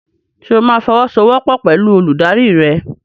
Ṣo máa fọwọ́sowọ́pọ̀ pẹ̀lú olùdarí rẹ?